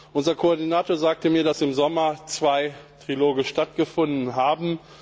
Unser Koordinator sagte mir, dass im Sommer zwei Triloge stattgefunden haben.